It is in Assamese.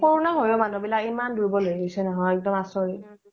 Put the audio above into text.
কৰোনা হয়ও মানুহ বিলাক ইমান দুৰ্বল হৈ গৈছে নহয় এক্দম আচৰিত